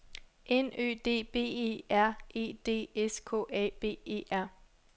N Ø D B E R E D S K A B E R